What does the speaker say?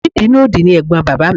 Òní ìbínú òdì ni ẹ̀gbọ́n bàbá mi